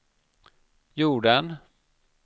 jorden